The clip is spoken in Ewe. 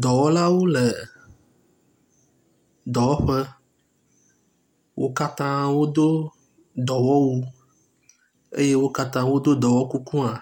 Dɔwɔlawo le dɔwɔƒe, wo katã wodo dɔwɔwu eye wo katã wodo dɔwɔkuku hã,